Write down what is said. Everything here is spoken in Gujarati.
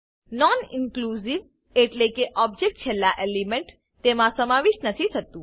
નોન ઇનક્લુંજીવ એટલેકે ઓબજેક્ટ છેલ્લા એલિમેન્ટ તેમા સમાવિષ્ઠ નથી થતું